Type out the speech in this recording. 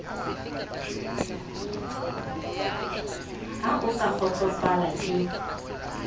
ha o sa kgotsofala ke